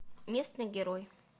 местный герой